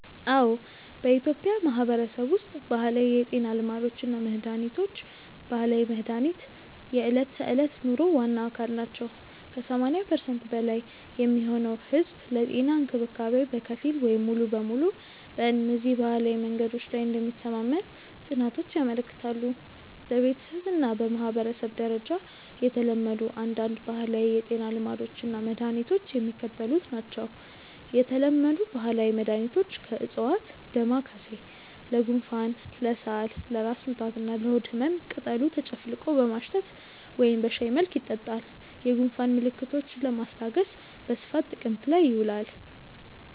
አዎ፣ በኢትዮጵያ ማህበረሰብ ውስጥ ባህላዊ የጤና ልማዶች እና መድሃኒቶች (ባህላዊ መድሃኒት) የዕለት ተዕለት ኑሮ ዋና አካል ናቸው። ከ80% በላይ የሚሆነው ህዝብ ለጤና እንክብካቤ በከፊል ወይም ሙሉ በሙሉ በእነዚህ ባህላዊ መንገዶች ላይ እንደሚተማመን ጥናቶች ያመለክታሉ። በቤተሰብ እና በማህበረሰብ ደረጃ የተለመዱ አንዳንድ ባህላዊ የጤና ልማዶች እና መድኃኒቶች የሚከተሉት ናቸው የተለመዱ ባህላዊ መድኃኒቶች (ከዕፅዋት) ደማካሴ (Ocimum lamiifolium): ለጉንፋን፣ ለሳል፣ ለራስ ምታት እና ለሆድ ህመም ቅጠሉ ተጨፍልቆ በማሽተት ወይም በሻይ መልክ ይጠጣል። የጉንፋን ምልክቶችን ለማስታገስ በስፋት ጥቅም ላይ ይውላል።